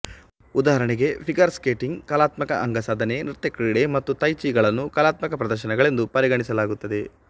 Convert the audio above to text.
ಉದಾಹರಣೆಗೆ figure skating ಕಲಾತ್ಮಕ ಅಂಗಸಾಧನೆ ನೃತ್ಯಕ್ರೀಡೆ ಮತ್ತು ತೈ ಚಿ ಗಳನ್ನು ಕಲಾತ್ಮಕ ಪ್ರದರ್ಶನಗಳೆಂದು ಪರಿಗಣಿಸಲಾಗುತ್ತದೆ